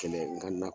Kɛlɛ nga na